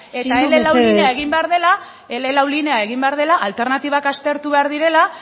mesedez eta ele lau linea egin behar dela ele lau linea egin behar dela alternatibak aztertu behar direla